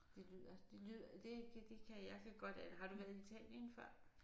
Det lyder det det kan jeg kan godt har du været i Italien før?